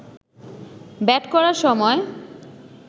bat করার সময়